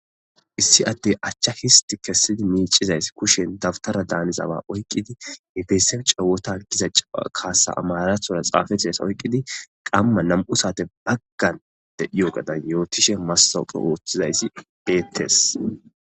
Issi atte achcha histi kessidi miicizayss kushen dabtara daanizawa oyqqidi hifesen cawotan diza cawa kaasa amarathora xaafateesa oyqqidi qamma nam'u saate baggan de yo gadan yootishe massawuphe ooththizayssi beettes.